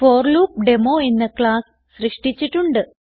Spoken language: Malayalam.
ഫോർ ലൂപ്പ് ഡെമോ എന്ന ക്ലാസ് സൃഷ്ടിച്ചിട്ടുണ്ട്